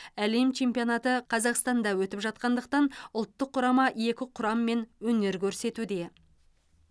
әлем чемпионаты қазақстанда өтіп жатқандықтан ұлттық құрама екі құраммен өнер көрсетуде